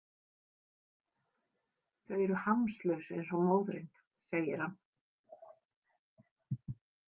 Þau eru hamslaus eins og móðirin, segir hann.